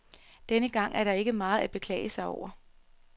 Denne gang er der ikke meget at beklage sig over.